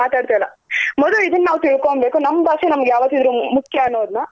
ಮಾತಾಡ್ತಾ ಇಲ್ಲ ಮೊದ್ಲು ಇದನ್ ನಾವ್ ತಿಳ್ಕೊನ್ ಬೇಕು ನಮ್ ಭಾಷೆ ನಮ್ಗ್ ಯಾವತ್ತಿದ್ರೂ ಮುಖ್ಯ ಅನ್ನೋದ್ನ.